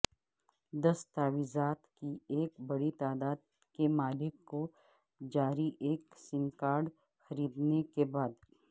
دستاویزات کی ایک بڑی تعداد کے مالک کو جاری ایک سم کارڈ خریدنے کے بعد